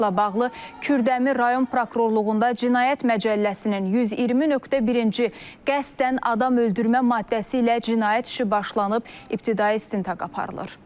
Faktla bağlı Kürdəmir rayon prokurorluğunda cinayət məcəlləsinin 120.1-ci qəsdən adam öldürmə maddəsi ilə cinayət işi başlanıb, ibtidai istintaq aparılır.